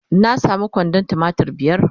na samu kwandon tumatir biyar